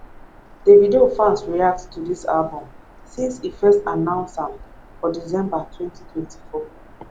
davido fans react to dis album since e first announce am for december 2024